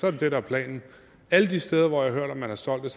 er det det der er planen alle de steder hvor jeg har hørt at man har solgt er